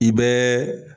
I bɛɛ